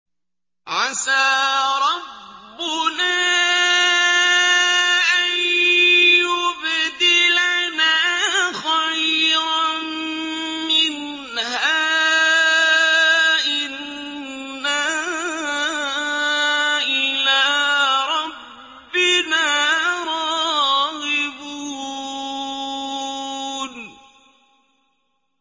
عَسَىٰ رَبُّنَا أَن يُبْدِلَنَا خَيْرًا مِّنْهَا إِنَّا إِلَىٰ رَبِّنَا رَاغِبُونَ